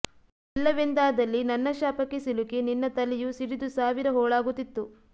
ಇಲ್ಲವೆಂದಾದಲ್ಲಿ ನನ್ನ ಶಾಪಕ್ಕೆ ಸಿಲುಕಿ ನಿನ್ನ ತಲೆಯು ಸಿಡಿದು ಸಾವಿರ ಹೋಳಾಗುತ್ತಿತ್ತು